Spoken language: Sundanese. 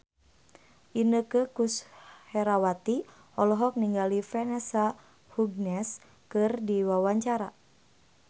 Inneke Koesherawati olohok ningali Vanessa Hudgens keur diwawancara